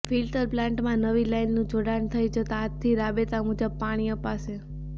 filter પ્લાન્ટમાં નવી લાઈનનું જોડાણ થઈ જતા આજથી રાબેતા મુજબ પાણી અપાશે